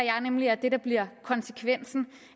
nemlig at det der bliver konsekvensen